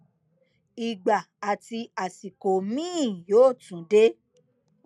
ìgbà àti àsìkò miín yóò tún dé